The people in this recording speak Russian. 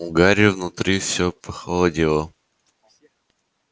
у гарри внутри все похолодело